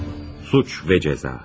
Suç ve cəza.